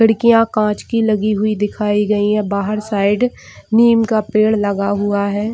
खिड़कियाँ कांच की लगी हुई दिखाई गई है बाहर साइड निम का पेड़ लगा हुआ है।